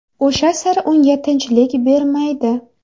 O‘sha sir unga tinchlik bermaydi.